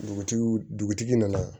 Dugutigi dugutigi nana